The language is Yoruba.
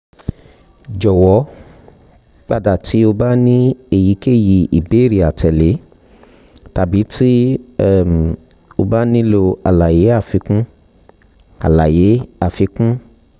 um jọwọ pada ti o ba ni eyikeyi ibeere atẹle tabi ti um o ba nilo alaye afikun alaye afikun